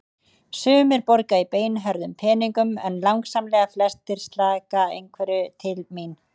Sumir borga í beinhörðum peningum en langsamlega flestir slaka einhverju til mín.